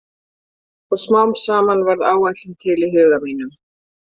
Og smám saman varð áætlun til í huga mínum.